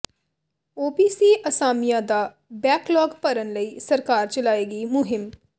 OBC ਅਸਾਮੀਆਂ ਦਾ backlog ਭਰਨ ਲਈ ਸਰਕਾਰ ਚਲਾਏਗੀ ਮੁਹਿੰਮ